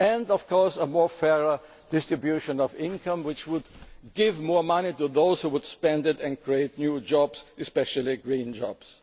happening. Of course, a fairer distribution of income would also give more money to those who would spend it and create new jobs, especially